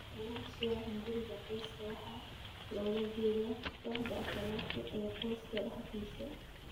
Achalasia hunguriga qoyska waxaa loola jeedaa kooxda achalasia ee qoyska dhexdiisa.